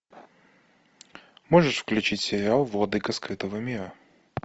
можешь включить сериал владыка скрытого мира